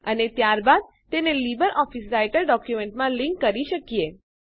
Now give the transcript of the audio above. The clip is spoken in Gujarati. અને ત્યારબાદ તેને લીબરઓફીસ રાઈટર ડોક્યુમેન્ટમાં લીંક જોડી કરી શકીએ